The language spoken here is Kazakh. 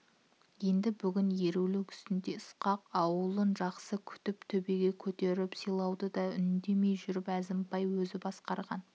енді бүгін еру-лік үстінде ысқақ аулын жақсы күтіп төбеге көтеріп сыйлауды да үндемей жүріп әзімбай өзі басқарған